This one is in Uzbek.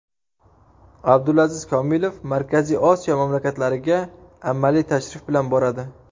Abdulaziz Komilov Markaziy Osiyo mamlakatlariga amaliy tashrif bilan boradi.